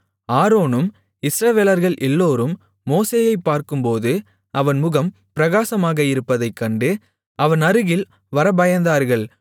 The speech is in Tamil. ஆரோனும் இஸ்ரவேலர்கள் எல்லோரும் மோசேயைப் பார்க்கும்போது அவன் முகம் பிரகாசமாக இருப்பதைக் கண்டு அவன் அருகில் வரப்பயந்தார்கள்